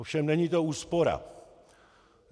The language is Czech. Ovšem není to úspora.